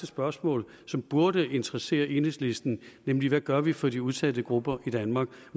spørgsmål som burde interessere enhedslisten nemlig hvad gør vi for de udsatte grupper i danmark